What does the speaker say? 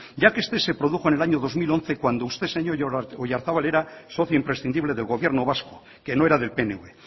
ya que este se produjo en el año dos mil once cuando usted señor oyarzabal era socio imprescindible del gobierno vasco que no era del pnv